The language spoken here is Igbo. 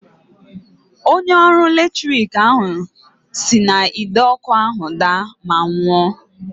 Onye ọrụ latrik ahụ si n'Ide ọkụ ahụ daa ma nwụọ.